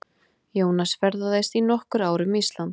Jónas ferðaðist í nokkur ár um Ísland.